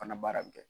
Fana baara bɛ kɛ